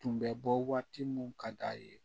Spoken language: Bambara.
Tun bɛ bɔ waati min ka d'a ye